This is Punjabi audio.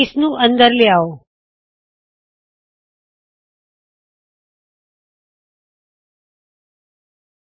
ਇਸ ਨੂੰ ਅਂਦਰ ਲਿਆਹੋ